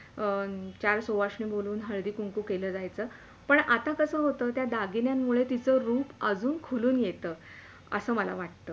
हम्म चार सुवासिनी बोलवून हळदी कुंकू केलं जायच पण आता कस होत त्या दागिन्यांमुळे तीच रूप अजून खुलून येत असे मला वाटते